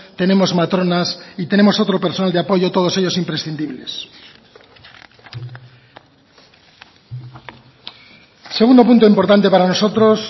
tenemos matronas y tenemos otro personal de apoyo todos ellos imprescindibles segundo punto importante para nosotros